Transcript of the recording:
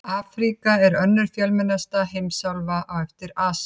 Afríka er önnur fjölmennasta heimsálfan á eftir Asíu.